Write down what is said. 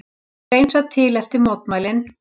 Hreinsað til eftir mótmælin